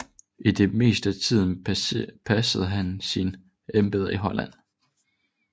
I det meste af tiden passede han sine embeder i Holland